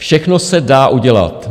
Všechno se dá udělat.